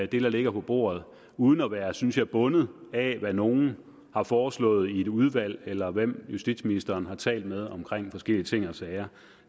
der ligger på bordet uden at være synes jeg bundet af hvad nogle har foreslået i et udvalg eller hvem justitsministeren har talt med om forskellige ting og sager